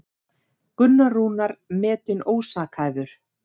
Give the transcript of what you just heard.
Gunnar Rúnar metinn ósakhæfur